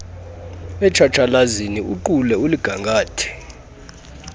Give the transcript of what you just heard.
etshatshalazeni uqule uligangathe